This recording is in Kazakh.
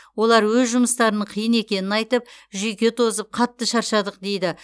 олар өз жұмыстарының қиын екенін айтып жүйке тозып қатты шаршадық дейді